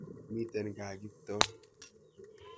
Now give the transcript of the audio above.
Miten kaa Kiptoo.